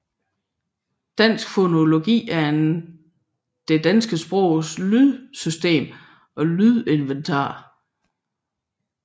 Dansk fonologi er det danske sprogs lydsystem og lydinventar